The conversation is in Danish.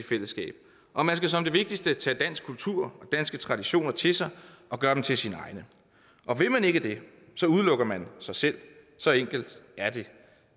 fællesskab og man skal som det vigtigste tage dansk kultur og danske traditioner til sig og gøre dem til sine egne og vil man ikke det udelukker man sig selv så enkelt er det